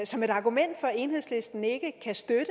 som et argument for at enhedslisten ikke kan støtte